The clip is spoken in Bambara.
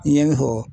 I ye n fɔ